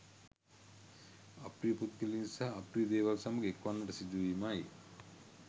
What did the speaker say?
අප්‍රිය පුද්ගලයින් සහ අප්‍රිය දේවල් සමඟ එක්වන්නට සිදුවීමයි.